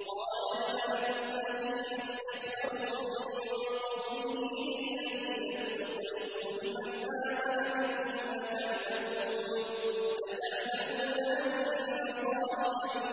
قَالَ الْمَلَأُ الَّذِينَ اسْتَكْبَرُوا مِن قَوْمِهِ لِلَّذِينَ اسْتُضْعِفُوا لِمَنْ آمَنَ مِنْهُمْ أَتَعْلَمُونَ أَنَّ صَالِحًا